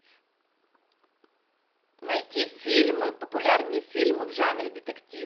найти фильмы популярные фильмы в жанре детектив